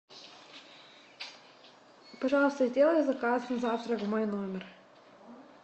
пожалуйста сделай заказ на завтра в мой номер